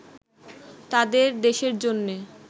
তাদের দেশের জন্যে